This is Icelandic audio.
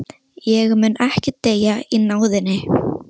Astrid, hvernig er veðrið úti?